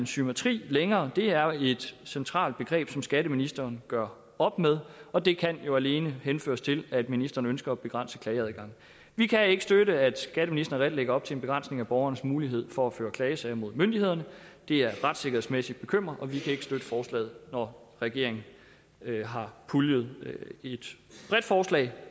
symmetri længere det er et centralt begreb som skatteministeren gør op med og det kan jo alene henføres til at ministeren ønsker at begrænse klageadgangen vi kan ikke støtte at skatteministeren at lægge op til en begrænsning af borgerens mulighed for at føre klagesager mod myndighederne det er retssikkerhedsmæssigt bekymrende og vi kan ikke støtte forslaget når regeringen har puljet et bredt forslag